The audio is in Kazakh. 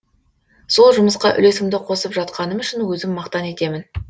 сол жұмысқа үлесімді қосып жатқаным үшін өзім мақтан етемін